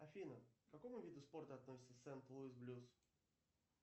афина к какому виду спорта относится сент луис блюз